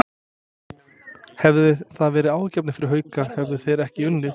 Hefði það verið áhyggjuefni fyrir Hauka, hefðu þeir ekki unnið?